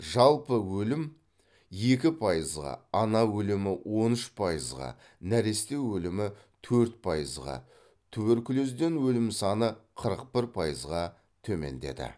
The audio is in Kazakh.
жалпы өлім екі пайызға ана өлімі он үш пайызға нәресте өлімі төрт пайызға туберкулезден өлім саны қырық бір пайызға төмендеді